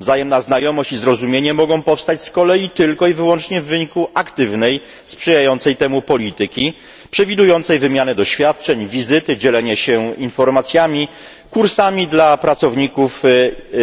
Wzajemna znajomość i zrozumienie mogą powstać z kolei tylko i wyłącznie w wyniku aktywnej, sprzyjającej temu polityki przewidującej wymianę doświadczeń, wizyty, dzielenie się informacjami, kursami dla pracowników